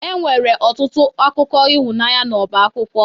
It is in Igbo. Enwere ọtụtụ akwụkwọ akụkọ ịhụnanya n'ọba akwụkwọ